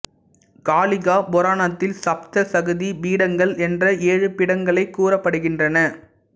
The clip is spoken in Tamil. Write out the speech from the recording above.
காளிகா புராணத்தில் சப்த சக்தி பீடங்கள் என்ற ஏழு பீடங்கள் கூறப்படுகின்றன